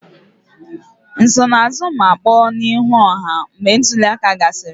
Nsonaazụ ma kpọọ n'ihu ọha mgbe ntuli aka gasịrị